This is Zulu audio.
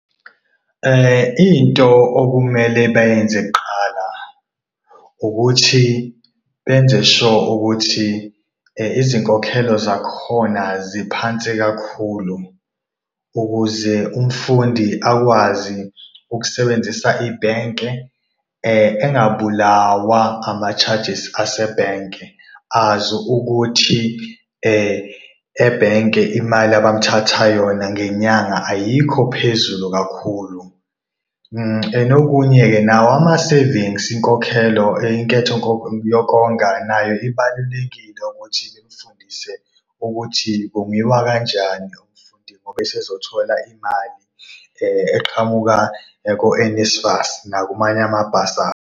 Into okumele bayenze kuqala ukuthi benze sure ukuthi izinkokhelo zakhona ziphansi kakhulu ukuze umfundi akwazi ukusebenzisa ibhenke, engabulawa ama-charges asebhenke azi ukuthi ebhenke imali abamthatha yona ngenyanga ayikho phezulu kakhulu. And okunye-ke nawo ama-savings, inkokhelo, inketho yokonga nayo ibalulekile ukuthi bemfundise ukuthi kongiwa kanjani umfundi ngoba esezothola imali eqhamuka ko-NSFAS nakumanye amabhasari.